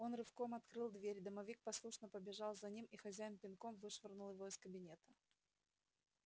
он рывком открыл дверь домовик послушно побежал за ним и хозяин пинком вышвырнул его из кабинета